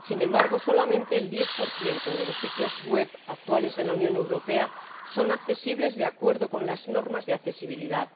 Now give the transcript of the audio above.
Sin embargo, solamente el 10 de los sitios web actuales de la Unión Europea son accesibles de acuerdo con las normas de accesibilidad.